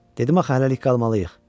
Dedim axı hələlik qalmalıyıq.